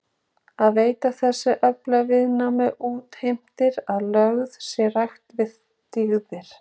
Að veita þessum öflum viðnám útheimtir að lögð sé rækt við dygðir.